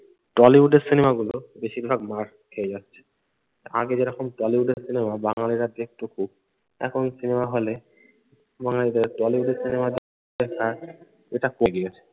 টলিউডের সিনেমাগুলো বেশিরভাগ মার খেয়ে যাচ্ছে, আগে যেরকম টলিউডের সিনেমা বাঙ্গালিরা দেখতো খুব। এখন সিনেমা হলে বাঙ্গালিদের টলিউডের সিনেমা দেখা এটা কমে গিয়েছে।